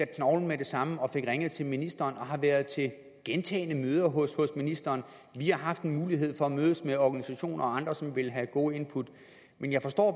knoglen med det samme og fik ringet til ministeren og har været til gentagne møder hos ministeren vi har haft en mulighed for at mødes med organisationer og andre som vil have gode input men jeg forstår